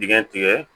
Dingɛ tigɛ